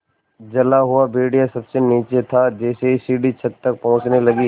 जला हुआ भेड़िया सबसे नीचे था जैसे ही सीढ़ी छत तक पहुँचने लगी